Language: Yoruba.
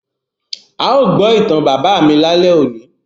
À yóò gbọ ìtan bábà mi lale óni.